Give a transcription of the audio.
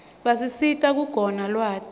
basisita kuquna lwati